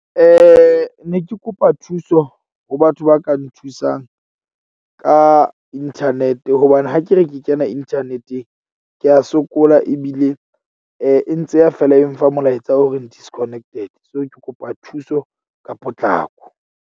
Ne ke kopa thuso ho batho ba ka nthusang ka internet-e hobane ha ke re ke kena internet-eng, ke a sokola ebile e ntse e ya fela e mfa molaetsa o reng disconnected. So, ke kopa thuso ka potlako.